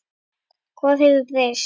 Hvað hefur breyst?